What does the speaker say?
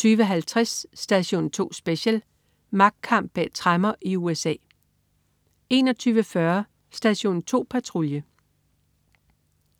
20.50 Station 2 Special: Magtkamp bag tremmer i USA 21.40 Station 2 Patrulje